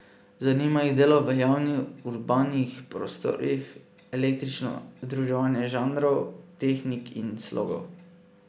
Zanima jih delo v javnih urbanih prostorih, eklektično združevanje žanrov, tehnik in slogov.